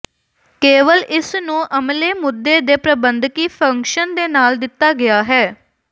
ਕੇਵਲ ਇਸ ਨੂੰ ਅਮਲੇ ਮੁੱਦੇ ਦੇ ਪ੍ਰਬੰਧਕੀ ਫੰਕਸ਼ਨ ਦੇ ਨਾਲ ਦਿੱਤਾ ਗਿਆ ਹੈ